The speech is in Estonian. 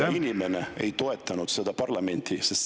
Gruusia inimene ei toetanud seda parlamenti?